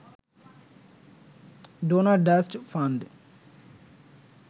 donor trust fund